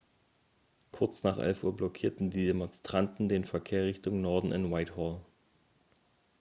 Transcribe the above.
kurz nach 11.00 uhr blockierten die demonstranten den verkehr richtung norden in whitehall